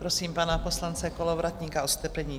Prosím pana poslance Kolovratníka o strpení.